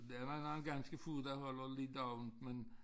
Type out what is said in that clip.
Der er da noget ganske få der holder lidt åbent men